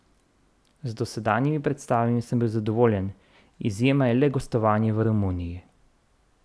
Z dosedanjimi predstavami sem zadovoljen, izjema je le gostovanje v Romuniji.